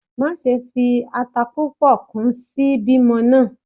Maṣe fi ata pupọ kun si bimo naa!